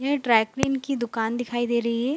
यह dry clean की दुकान दिखाई दे रही है।